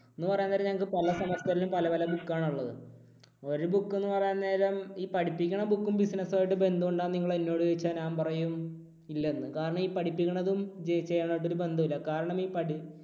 എന്നു പറയാൻ നേരം നമുക്ക് പല semester ലും പല പല book ആണുള്ളത്. ഒരു book എന്ന് പറയാൻ നേരം ഈ പഠിപ്പിക്കണ book ഉം business മായി ബന്ധമുണ്ടോയെന്ന് നിങ്ങൾ എന്നോട് ചോദിച്ചാൽ ഞാൻ പറയും ഇല്ലെന്ന്. കാരണം ഈ പഠിപ്പിക്കുന്നതും ചെയ്യണതുമായിട്ട് ഒരു ബന്ധവും ഇല്ല. കാരണം